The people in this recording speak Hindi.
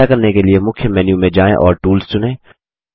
ऐसा करने के लिए160 मुख्य मेन्यू में जाएँ और टूल्स चुनें